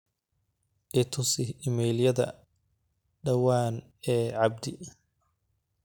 itusi iimalyada dhawaan ee abdi